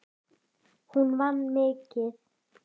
Hún vann mikið.